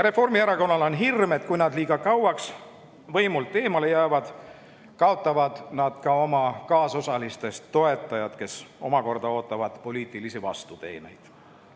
Reformierakonnal on hirm, et kui nad liiga kauaks võimu juurest eemale jäävad, kaotavad nad ka oma kaasosalistest toetajad, kes ootavad poliitilisi vastuteeneid.